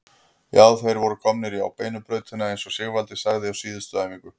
Já, þeir voru komnir á beinu brautina eins og Sigvaldi sagði á síðustu æfingu.